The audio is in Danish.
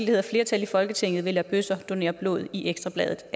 hedder flertal i folketinget vil lade bøsser donere blod i ekstra bladet